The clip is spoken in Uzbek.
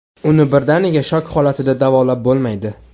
Uni birdaniga shok holatida davolab bo‘lmaydi.